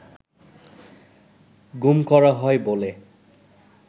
গুম করা হয় বলে